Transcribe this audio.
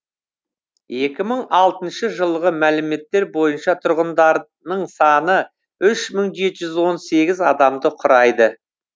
екі мың алтыншы жылғы мәліметтер бойынша тұрғындарының саны үш мың жеті жүз он сегіз адамды құрайды